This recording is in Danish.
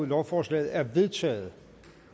lovforslaget er vedtaget